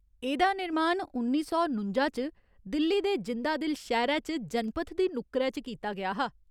एह्दा निर्माण उन्नी सौ नुंजा च दिल्ली दे जिंदादिल शैह्‌रै च जनपथ दी नुक्करै च कीता गेआ हा।